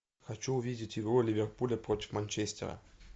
хочу увидеть игру ливерпуля против манчестера